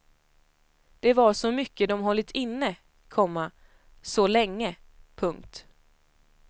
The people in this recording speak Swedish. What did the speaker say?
Det var så mycket de hållit inne, komma så länge. punkt